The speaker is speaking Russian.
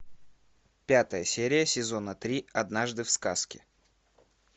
пятая серия сезона три однажды в сказке